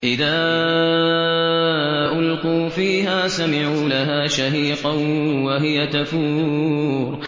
إِذَا أُلْقُوا فِيهَا سَمِعُوا لَهَا شَهِيقًا وَهِيَ تَفُورُ